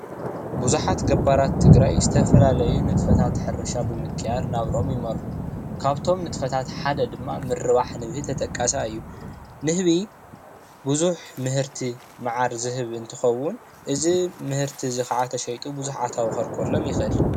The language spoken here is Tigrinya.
ብዙሓት ገባራት ትግራይ ዝተፈላለዩ ንጥፈታት ሕርሻ ብምክያድ ናብርኦም ይመርሑ ካብቶም ንጥፈታት ሓደ ድማ ምርባሕ ንህቢ ተጠቃሳይ እዩ ንህቢ ብዙሕ ምህርቲ መዓር ዝህብ እንትኸውን እዚ ምህርቲ እዚ ከዓ ተሸይጡ ብዙሕ ኣታዊ ከርክበሎም ይኽእል ።